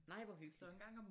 Nej hvor hyggeligt!